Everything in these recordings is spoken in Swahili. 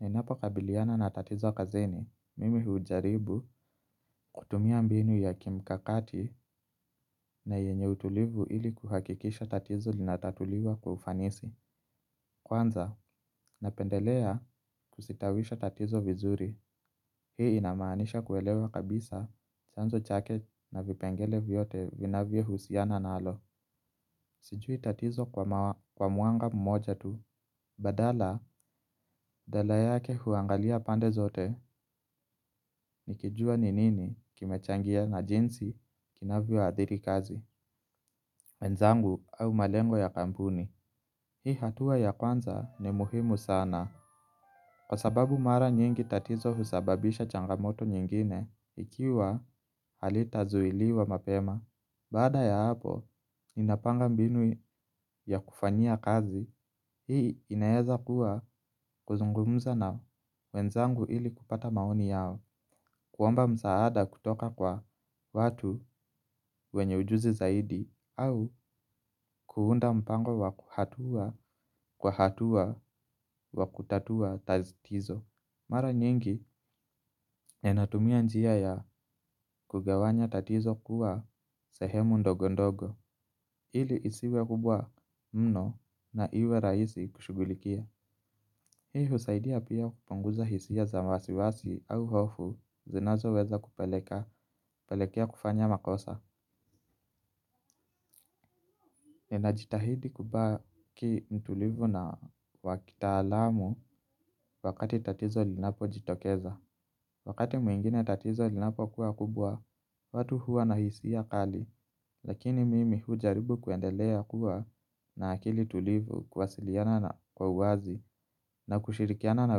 Ninapo kabiliana na tatizo kazini, mimi hujaribu kutumia mbinu ya kimkakati na yenye utulivu ili kuhakikisha tatizo linatatuliwa kwa ufanisi. Kwanza, napendelea kusitawisha tatizo vizuri, hii inamanisha kuelewa kabisa chanzo chake na vipengele vyote vinavyo husiana nalo. Sijui tatizo kwa muanga mmoja tu. Badala, dala yake huangalia pande zote. Nikijua ni nini kimechangia na jinsi kinavyo adhiri kazi wenzangu au malengo ya kampuni hii hatua ya kwanza ni muhimu sana kwa sababu mara nyingi tatizo husababisha changamoto nyingine. Ikiwa halita zuiliwa mapema baada ya hapo, ninapanga mbinu ya kufanyia kazi. Hii inaeza kuwa kuzungumza na wenzangu ili kupata maoni yao kuoamba msaada kutoka kwa watu wenye ujuzi zaidi au kuunda mpango wa kuhatua kwa hatua wa kutatua tatizo. Mara nyingi enatumia njia ya kugawanya tatizo kuwa sehemu ndogondogo. Ili isiwe kubwa mno na iwe raisi kushugulikia. Hii husaidia pia kupunguza hisia za wasiwasi au hofu zinazo weza kupeleka, pelekea kufanya makosa. Nina jitahidi kubaki mtulivu na wa kitaalamu wakati tatizo linapo jitokeza. Wakati mwingine tatizo linapo kuwa kubwa, watu huwa na hisia kali. Lakini mimi hujaribu kuendelea kuwa na akili tulivu kuwasiliana na kwa uwazi na kushirikiana na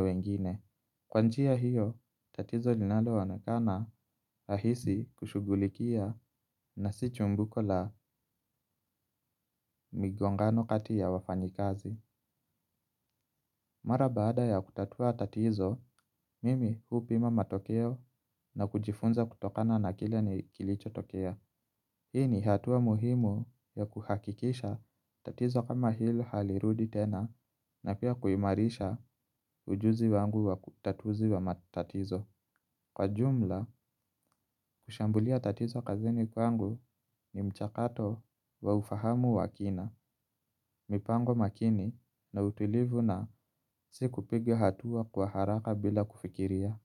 wengine. Kwanjia hiyo, tatizo linalo onekana rahisi kushugulikia na si chumbuko la migongano kati ya wafanyikazi. Mara baada ya kutatua tatizo, mimi huu pima matokeo na kujifunza kutokana na kile ni kilicho tokea. Hii ni hatua muhimu ya kuhakikisha tatizo kama hilo halirudi tena na pia kuimarisha ujuzi wangu wa kutatuzi wa matatizo. Kwa jumla, kushambulia tatizo kazini kwangu ni mchakato wa ufahamu wa kina, mipango makini na utulivu na siku piga hatua kwa haraka bila kufikiria.